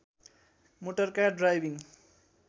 motor car driving